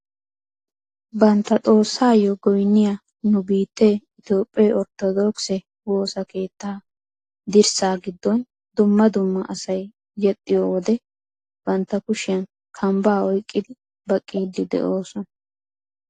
Bantta xoossaayoo goynniyaa nu biittee itoophphee orttodookise woossa keettaa dirssa giddon dumma dumma asay yexxiyoo wode bantta kushiyaan kambbaa oyqqidi baqqiidi de'oosona.